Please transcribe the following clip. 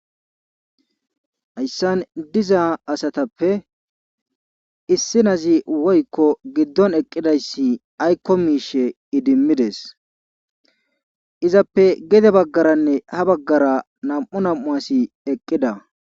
Hayssan diza asatappe issi naazi woykko gidon eqqidayssi aykko miishe idimidees. izappe gede baggaranne ha bagara nam'u nam'u asi eqqida.